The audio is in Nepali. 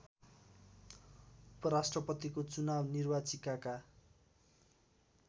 उपराष्‍ट्रपतिको चुनाव निर्वाचिकाका